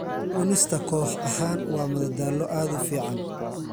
Cunista koox ahaan waa madadaalo aad u fiican.